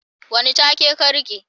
wane take ka rike